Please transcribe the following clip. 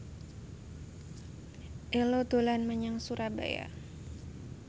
Ello dolan menyang Surabaya